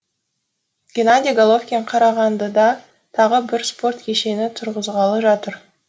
геннадий головкин қарағандыда тағы бір спорт кешенін тұрғызғалы жатыр